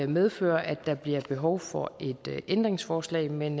medføre at der bliver behov for et ændringsforslag men